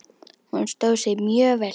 Hún stóð sig mjög vel.